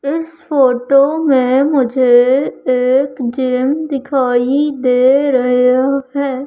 इस फोटो में मुझे एक जिम दिखाई दे रहेया है।